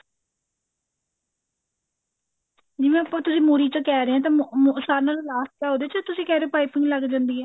ਜਿਵੇਂ ਆਪਾਂ ਤੁਸੀਂ ਮੁਰ੍ਹੀ ਚੋਂ ਕਿਹ ਰਹੇ ਹੋ ਤਾਂ ਅਮ ਸਾਰੇ ਨਾਲੋ last ਆ ਉਹਦੇ ਚ ਤੁਸੀਂ ਕਿਹ ਰਹੇ ਹੋ ਪਾਈਪੀਣ ਲੱਗ ਜਾਂਦੀ ਹੈ